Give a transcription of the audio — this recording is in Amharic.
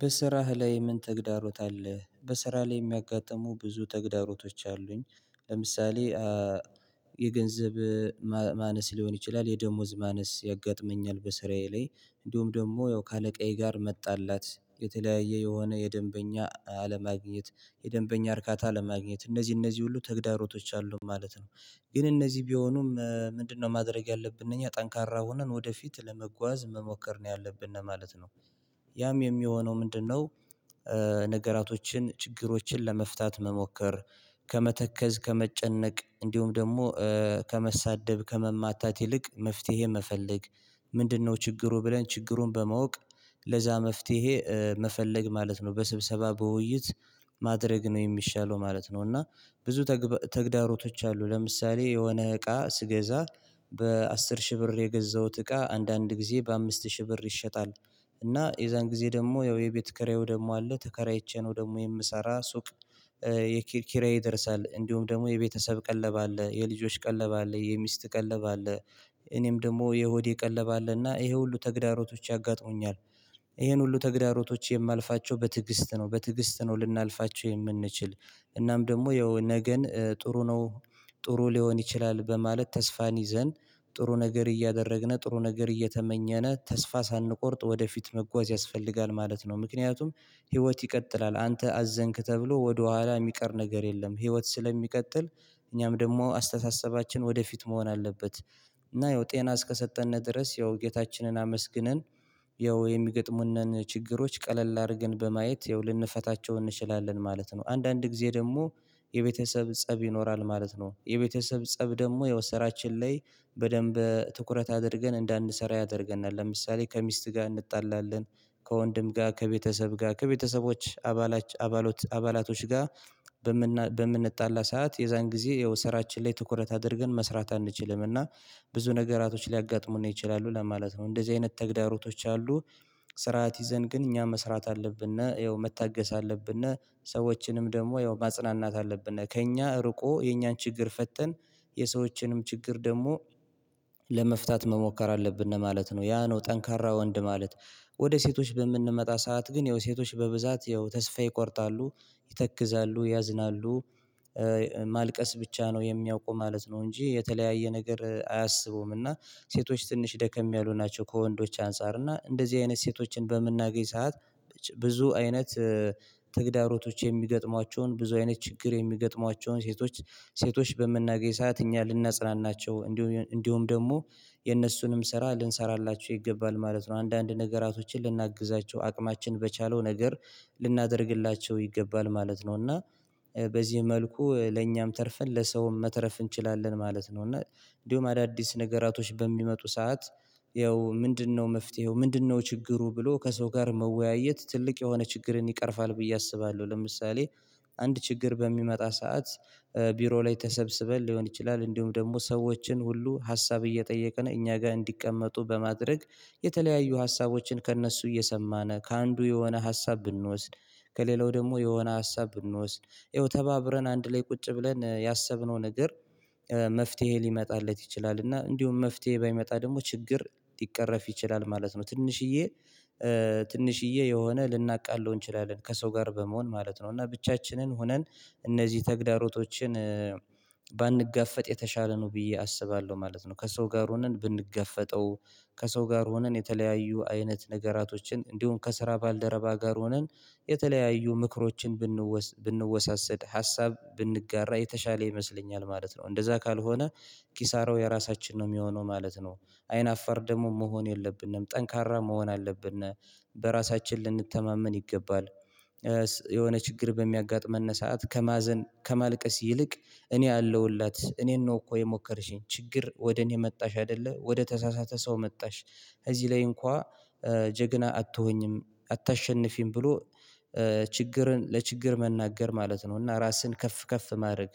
በስራህ ላይ ምን ተግዳሮት አለህ? በስራ ላይ የሚያጋጥሙ ብዙ ተግዳሮቶች አሉኝ። ለምሳሌ የገንዘብ ማነስ ሊሆን ይችላል የደሞዝ ማነስ ያጋጥመኛል። በስራዬ ላይ እንዲሁም ደግሞ ያው ከአለቃዬ ጋር መጣላት የተለያየ የሆነ የደንበኛ አለማግኘት የደንበኛ እርካታ ለማግኘት እነዚህ እነዚህ ሁሉ ተግዳሮቶች አሉ ማለት ነው። ግን እነዚህ ቢሆኑም ምንድነው ማድረግ ያለብን እኛ ጠንካራ ሆነን ወደፊት ለመጓዝ መሞከር ነው ያለብነ ማለት ነው። ያም የሚሆነው ምንድነው? ነገራቶችን ችግሮችን ለመፍታት መሞከር ከመተከዝ ከመጨነቅ እንዲሁም ደግሞ ከመሳደብ ከመማታት ይልቅ መፍትሄ መፈለግ። ምንድነው ችግሩ ብለን ችግሩን በማወቅ ለዛ መፍትሄ መፈለግ ማለት ነው በስብሰባ በውይይት ማድረግ ነው የሚሻለው ማለት ነው። እና ብዙ ተግዳሮቶች አሉ ለምሳሌ የሆነ እቃ ስገዛ በአስር ሺህ ብር የገዛሁት እቃ አንዳንድ ጊዜ በአምስት ሺህ ብር ይሸጣል። እና የዛን ጊዜ ደግሞ ያው የቤት ኪራይው ደግሞ አለ ተከራይቼ ነው ደግሞ የምሰራ ሱቅ። የኪራይ ይደርሳል እንዲሁም ደግሞ የቤተሰብ ቀለብ አለ የልጆች ቀለብ አለ የሚስት ቀለብ አለ እኔም ደግሞ የሆዴ ቀለብ አለ እና ይሄ ሁሉ ተግዳሮቶች ያጋጥሙኛል። ይሄን ሁሉ ተግዳሮቶች የማልፋቸው በትዕግስት ነው በትዕግስት ነው ልናልፋቸው የምንችል። እናም ደግሞ የነገን ጥሩ ነው ጥሩ ሊሆን ይችላል በማለት ተስፋን ይዘን ጥሩ ነገር እያደረግነ ጥሩ ነገር እየተመኘነ ተስፋ ሳንቆርጥ ወደፊት መጓዝ ያስፈልጋል ማለት ነው። ምክንያቱም ህይወት ይቀጥላል አንተ አዘንክ ተብሎ ወደኋላ የሚቀር ነገር የለም። ህይወት ስለሚቀጥል እኛም ደግሞ አስተሳሰባችን ወደፊት መሆን አለበት። እና ያው ጤና እስከሰጠነ ድረስ ያው ጌታችንን አመስግነን ያው የሚገጥሙንን ችግሮች ቀለል አድርገን በማየት ያው ልንፈታቸው እንችላለን ማለት ነው። አንዳንድ ጊዜ ደግሞ የቤተሰብ ፀብ ይኖራል ማለት ነው የቤተሰብ ፀብ ደግሞ ያው ስራችን ላይ በደንብ ትኩረት አድርገን እንዳንሰራ ያደርገናል ለምሳሌ ከሚስት ጋር እንጣላለን። ከወንድም ጋር ከቤተሰብ ጋር ከቤተሰቦች አባላት አባላቶች ጋር በምንጣላ ሰዓት የዛን ጊዜ ያው ስራችን ላይ ትኩረት አድርገን መስራት አንችልም እና ብዙ ነገራቶች ሊያጋጥሙን ይችላሉ ለማለት ነው እንደዚህ አይነት ተግዳሮቶች አሉ። ስርዓት ይዘን ግን እኛ መስራት አለብንና ይኸው መታገስ አለብንና ሰዎችንም ደግሞ ያው ማጽናናት አለብን ከእኛ ርቆ የእኛን ችግር ፈተን የሰዎችንም ችግር ደግሞ መሞከር አለብን ነው ማለት ነው። ያ ነው ጠንካራ ወንድ ማለት ወደ ሴቶች በምንመጣ ሰዓት ግን ያው ሴቶች በብዛት ያው ተስፋ ይቆርጣሉ ይተክዛሉ ያዝናሉ ማልቀስ ብቻ ነው የሚያውቁ ማለት ነው። እንጂ የተለያየ ነገር አያስቡም እና ሴቶች ትንሽ ደከም ያሉ ናቸው ከወንዶች አንፃር እና እንደዚህ አይነት ሴቶችን በምናገኝ ሰዓት ብዙ አይነት ተግዳሮቶች የሚገጥሟቸውን ብዙ አይነት ችግር የሚገጥሟቸውን ሴቶች ሴቶች በምናገኝ ሰዓት እኛ ልናጽናናቸው እንዲሁም እንዲሁም ደግሞ የእነሱንም ስራ ልንሰራላቸው ይገባል ማለት ነው። አንዳንድ ነገራቶችን ልናግዛቸው አቅማችን በቻለው ነገር ልናደርግላቸው ይገባል ማለት ነው። እና በዚህ መልኩ ለእኛም ተርፈን ለሰውም መተረፍ እንችላለን ማለት ነው። እና እንዲሁም አዳዲስ ነገራቶች በሚመጡ ሰዓት ያው ምንድነው መፍትሄው ምንድነው ችግሩ ብሎ ከሰው ጋር መወያየት ትልቅ የሆነ ችግርን ይቀርፋል ብዬ አስባለሁ። ለምሳሌ አንድ ችግር በሚመጣ ሰዓት ቢሮ ላይ ተሰብስበን ሊሆን ይችላል እንዲሁም ደግሞ ሰዎችን ሁሉ ሀሳብ እየጠየቅን እኛ ጋር እንዲቀመጡ በማድረግ የተለያዩ ሀሳቦችን ከእነሱ እየሰማን ከአንዱ የሆነ ሀሳብ ብንወስድ ከሌላው ደግሞ የሆነ ሀሳብ ብንወስድ ይኸው ተባብረን አንድ ላይ ቁጭ ብለን ያሰብነው ነገር መፍትሄ ሊመጣለት ይችላል እና እንዲሁም መፍትሄ ባይመጣ ደግሞ ችግር ሊቀረፍ ይችላል ማለት ነው። ትንሽዬ ትንሽዬ የሆነ ልናቃልለው እንችላለን ከሰው ጋር በመሆን ማለት ነው። እና ብቻችንን ሆነን እነዚህ ተግዳሮቶችን ባንጋፈጥ የተሻለ ነው ብዬ አስባለሁ ማለት ነው። ከሰው ጋር ሆነን ብንጋፈጠው ከሰው ጋር ሆነን የተለያዩ አይነት ነገራቶችን እንዲሁም ከስራ ባልደረባ ጋር ሆነን የተለያዩ ምክሮችን ብንወሳሰድ ሀሳብ ብንጋራ የተሻለ ይመስለኛል ማለት ነው። እንደዛ ካልሆነ ኪሳራው የራሳችን ነው የሚሆነው ማለት ነው። አይን አፋር ደግሞ መሆን የለብንም ጠንካራ መሆን አለብነ በራሳችን ልንተማመን ይገባል። የሆነ ችግር በሚያጋጥመን ሰዓት ከማዘን ከማልቀስ ይልቅ እኔ አለውለት እኔን ነው እኮ የሞከርሽኝ ችግር ወደ እኔ መጣሽ አይደለ ወደ ተሳሳተ ሰው መጣሽ። እዚህ ላይ እንኳን ጀግና አትሆኚም አታሸንፊም ብሎ ችግርን ለችግር መናገር ማለት ነው። እና ራስህን ከፍ ከፍ ማድረግ